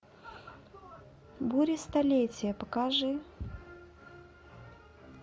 бури столетия покажи